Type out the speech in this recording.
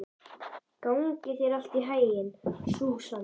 Gangi þér allt í haginn, Súsanna.